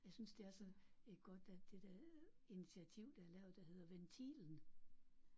Jeg synes det er så et godt at det der initiativ der er lavet der hedder Ventilen